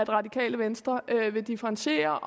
radikale venstre er et vil differentiere